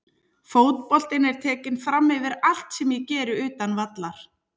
Fótboltinn er tekinn framyfir allt sem ég geri utan vallar.